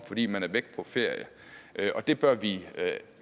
fordi man er væk på ferie det bør vi